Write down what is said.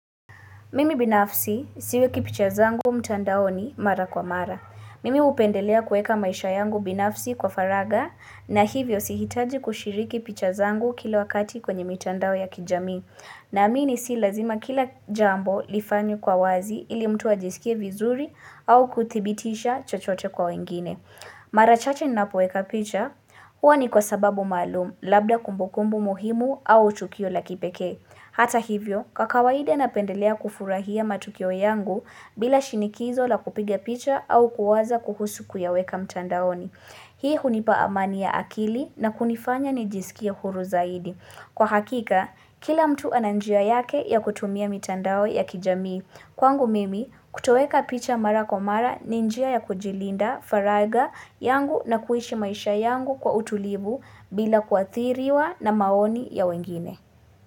Mimi binafsi siwekipicha zangu mtandao ni mara kwa mara. Mimi upendelea kweka maisha yangu binafsi kwa faraga na hivyo sihitaji kushiriki picha zangu kila wakati kwenye mtandao ya kijami. Na amini si lazima kila jambo lifanyu kwa wazi ili mtu ajisikie vizuri au kutibitisha chochote kwa wengine. Mara chache nina poweka picha huwa ni kwa sababu maalum labda kumbukumbu muhimu au chukio la kipeke. Hata hivyo, kwa kawaide napendelea kufurahia matukio yangu bila shinikizo la kupigia picha au kuwaza kuhusu kuyaweka mtandaoni. Hii hunipa amani ya akili na kunifanya ni jisikia huru zaidi. Kwa hakika, kila mtu ananjia yake ya kutumia mtandao ya kijamii. Kwangu mimi, kutoweka picha mara komara ninjia ya kujilinda, faraga yangu na kuishi maisha yangu kwa utulibu bila kuathiriwa na maoni ya wengine.